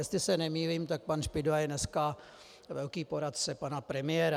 Jestli se nemýlím, tak pan Špidla je dneska velký poradce pana premiéra.